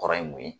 Kɔrɔ ye mun ye